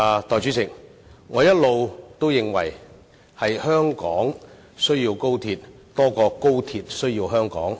代理主席，我一直認為香港需要高鐵多於高鐵需要香港。